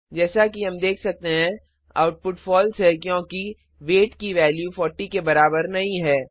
जैसा कि हम देख सकते हैं आउटपुट फॉल्स है क्योंकि वेट की वैल्यू 40 के बराबर नहीं है